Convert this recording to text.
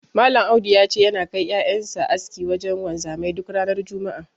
Malam Audu ya ce, yana kai ƴaƴan sa aski wajen wanzami duk ranar juma'a.